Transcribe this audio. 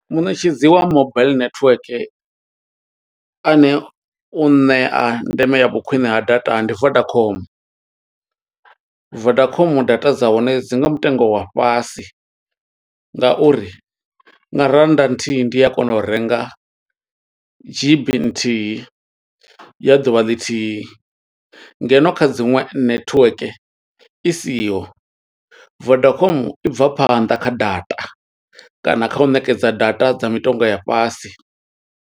Muṋetshedzi wa mobile network, ane u ṋea ndeme ya vhu khwiṋe ha data, ndi Vodacom. Vodacom data dza hone dzi nga mutengo wa fhasi, nga uri nga rannda nthihi ndi a kona u renga dzhibi nthihi, ya ḓuvha ḽithihi. Ngeno kha dziṅwe netiweke i siho, Vodacom i bva phanḓa kha data, kana kha u ṋekedza data dza mitengo ya fhasi.